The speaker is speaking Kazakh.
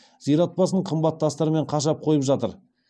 зират басын қымбат тастармен қашап қойып жатыр